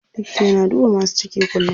Likata yana duba masu ciki kullum.